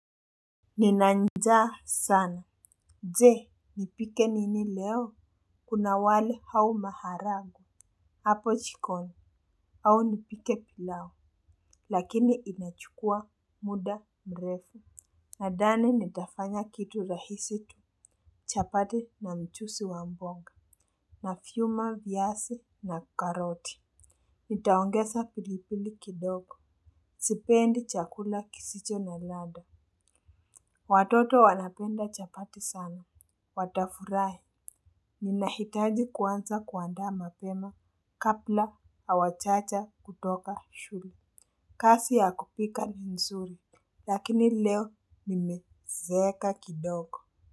Nina njaa sana jee nipike nini leo. Kuna wali au maharagwe hapo jikoni au nipike pilau. Lakini inachukua muda mrefu nadhani nitafanya kitu rahisi tu. Chapati na mchuzi wa mboga na vyuma viasi na karoti. Nitaongeza pilipili kidogo. Sipendi chakula kisicho na ladha. Watoto wanapenda chapati sana. Watafurahi, ninahitaji kuanza kuandaa mapema, kabla hawajaja kutoka shule. Kazi ya kupika ni nzuri, lakini leo nimezeeka kidogo.